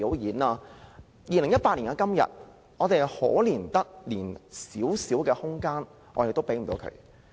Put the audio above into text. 到了2018年的今天，我們可憐得連少許空間也沒有。